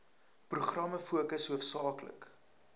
programme fokus hoofsaaklik